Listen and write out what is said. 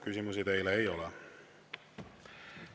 Küsimusi teile ei ole.